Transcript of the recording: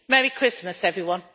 Merry Christmas, everyone.